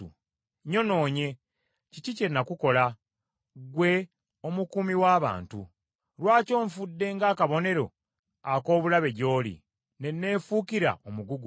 Nyonoonye; kiki kye nakukola, ggwe omukuumi w’abantu? Lwaki onfudde nga akabonero ak’obulabe gy’oli, ne neefuukira omugugu?